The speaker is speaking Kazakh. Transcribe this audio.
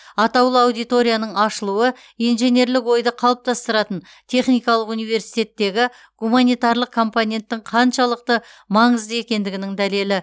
атаулы аудиторияның ашылуы инженерлік ойды қалыптастыратын техникалық университеттегі гуманитарлық компоненттің қаншалықты маңызды екендігінің дәлелі